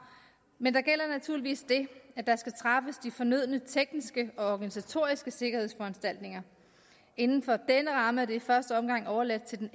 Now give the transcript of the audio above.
men der gælder naturligvis det at der skal træffes de fornødne tekniske og organisatoriske sikkerhedsforanstaltninger inden for denne ramme er det i første omgang overladt til den